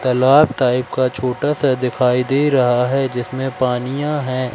तालाब टाइप का छोटा सा दिखाई दे रहा है जिसमें पानिया है।